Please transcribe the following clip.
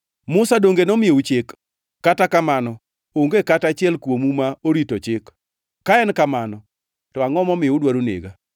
Musa donge nomiyou chik? Kata kamano, onge kata achiel kuomu ma orito chik. Ka en kamano, to angʼo momiyo udwaro nega?”